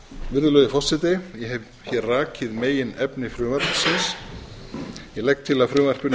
virðulegi forseti ég hef rakið meginefni frumvarpsins ég legg til að frumvarpinu